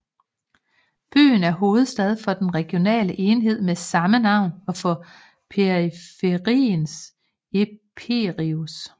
Byen er hovedstad for den regionale enhed med samme navn og for periferien Epirus